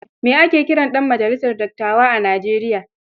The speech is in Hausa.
Me ake kiran ɗan majalisar dattawa a Nijeriya?